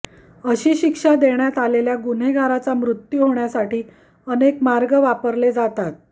अशी शिक्षा देण्यात आलेल्या गुन्हेगाराचा मृत्यू होण्यासाठी अनेक मार्ग वापरले जातात